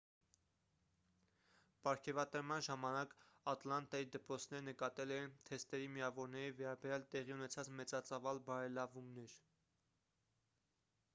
պարգևատրման ժամանակ ատլանտայի դպրոցները նկատել էին թեստերի միավորների վերաբերյալ տեղի ունեցած մեծածավալ բարելավումները